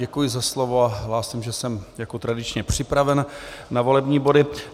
Děkuji za slovo a hlásím, že jsem jako tradičně připraven na volební body.